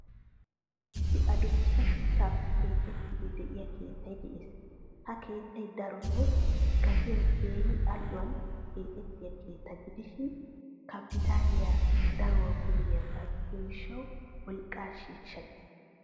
Issi addussa shuchchappe keexidi deiyo keettay de'ees. Ha keettay daroto gatiyaa keehinal'uwan keexettiyaa keettaa gidishin kapitaaliyaa daruwaa koyiyaga gidiyo gishshawu wolqqa shisha gees.